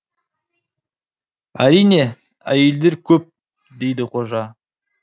әрине әйелдер көп дейді қожа